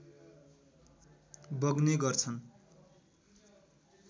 बग्ने गर्छन्